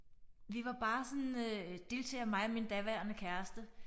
Vi var bare sådan øh deltagere mig og min daværende kæreste